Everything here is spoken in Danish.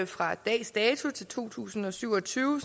fra dags dato til to tusind og syv og tyve